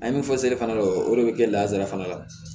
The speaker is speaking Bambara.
An ye min fɔ seli fana don o de bɛ kɛ lazara fana la